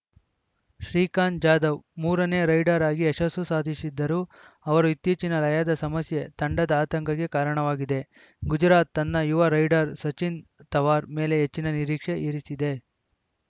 ಶ್ರೀಕಾಂತ್‌ ಜಾಧವ್‌ ಮೂರನೇ ರೈಡರ್‌ ಆಗಿ ಯಶಸ್ಸು ಸಾಧಿಸಿದ್ದರೂ ಅವರು ಇತ್ತೀಚಿನ ಲಯದ ಸಮಸ್ಯೆ ತಂಡದ ಆತಂಕಕ್ಕೆ ಕಾರಣವಾಗಿದೆ ಗುಜರಾತ್‌ ತನ್ನ ಯುವ ರೈಡರ್‌ ಸಚಿನ್‌ ತವಾರ್‌ ಮೇಲೆ ಹೆಚ್ಚಿನ ನಿರೀಕ್ಷೆ ಇರಿಸಿದೆ